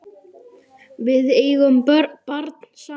Við eigum barn saman.